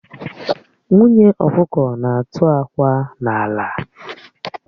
Nwunye ọkụkọ na-atụ akwa n'ala